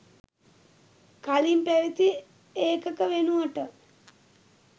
කලින් පැවති ඒකක වෙනුවට